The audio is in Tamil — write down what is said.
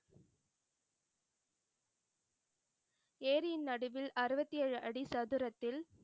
ஏரியின் நடுவில் அறுவத்தி ஏழு அடி சதுரத்தில்,